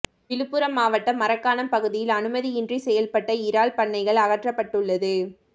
விழுப்பரம் மாவட்டம் மரக்காணம் பகுதியில் அனுமதியின்றி செயல்பட்ட இறால் பண்ணைகள் அகற்றப்பட்டுள்ளது